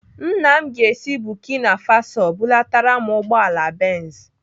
Nna m ga-esi Burkina Faso bulatara m ugbọala Benz.